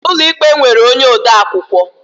Ụlọ ikpe nwere onye odeakwụkwọ